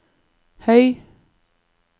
høy